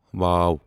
و